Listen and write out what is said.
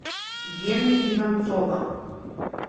гены иванцова